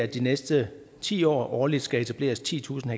de næste ti år årligt skal etableres titusind